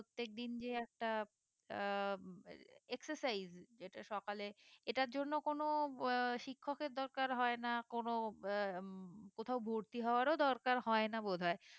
প্রত্যেক দিন যে একটা আহ excercise যেটা সকালে এটার জন্য কোনো আহ শিক্ষকের দরকার হয়ে না কোনো আহ কোথাও ভর্তি হওয়ারও দরকার হয় না বোধ হয়